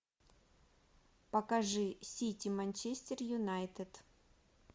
покажи сити манчестер юнайтед